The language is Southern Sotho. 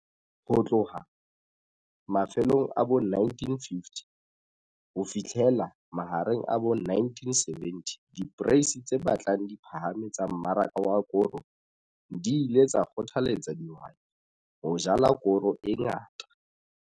Ho tloha mafelong a bo1950 ho fihlela mahareng a bo1970 diporeisi tse batlang di phahame tsa mmaraka wa koro di ile tsa kgothaletsa dihwai ho jala koro e ngata.